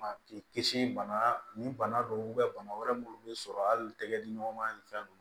K'i kisi bana nin bana don bana wɛrɛ minnu bɛ sɔrɔ hali tɛgɛ diɲɔgɔnma ni fɛn ninnu